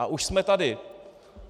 A už jsme tady.